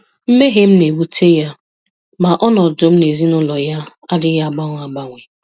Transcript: Mmehie m na-ewute ya, ma ọnọdụ m n'ezinụlọ ya adịghị agbanwe agbanwe.